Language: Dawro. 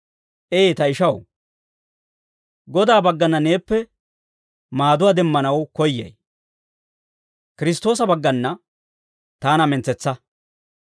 Ee, ta ishaw, Godaa baggana neeppe maaduwaa demmanaw koyyay. Kiristtoosa baggana taana mentsetsa.